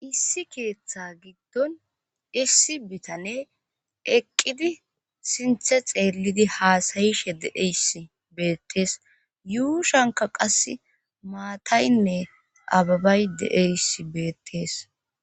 issi keeththa giddon issi bitane eqqidi sinthe xeellidi haasayishe deeys beettees yuushanka qas maataynne ababay deeys beettees